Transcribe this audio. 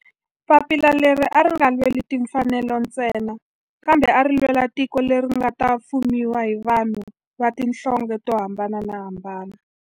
Papila leri a ri nga lweli timfanelo ntsena kambe ari lwela tiko leri nga ta fumiwa hi vanhu va tihlonge to hambanahambana.